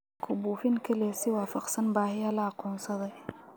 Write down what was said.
Ku buufin kaliya si waafaqsan baahiyaha la aqoonsaday.